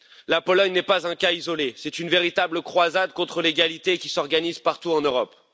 La Pologne n'est pas un cas isolé, c'est une véritable croisade contre l'égalité qui s'organise partout en Europe.